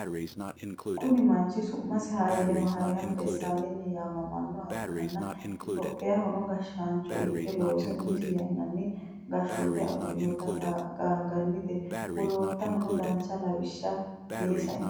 Kuni manchi su'masi hayilemariyam desalegni yaamamannoha ikkana itiyophiyahono gashashaancho ikke loose umisi yannanni gashoote agurinoti qaanganittenna wolootahono dancha lawisha ee saino